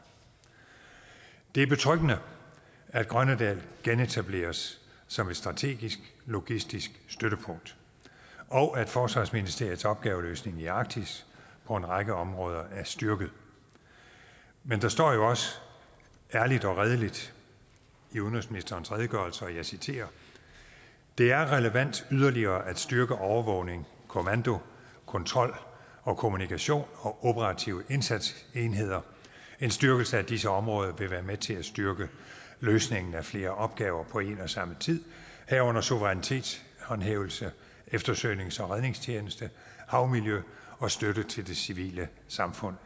det er betryggende at grønnedal genetableres som et strategisk logistisk støttepunkt og at forsvarsministeriets opgaveløsning i arktis på en række områder er styrket men der står jo også ærligt og redeligt i udenrigsministerens redegørelse og jeg citerer det er relevant yderligere at styrke overvågning kommando kontrol og kommunikation og operative indsatsenheder en styrkelse af disse områder vil være med til at styrke løsningen af flere opgaver på én og samme tid herunder suverænitetshævdelse eftersøgnings og redningstjeneste havmiljø og støtte til det civile samfund